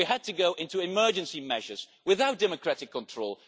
We had to take emergency measures without democratic control.